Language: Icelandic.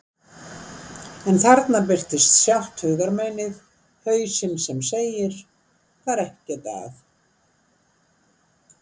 En þarna birtist sjálft hugarmeinið, hausinn sem segir: Það er ekkert að.